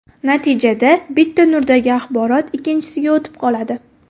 Natijada bitta nurdagi axborot ikkinchisiga o‘tib qoladi.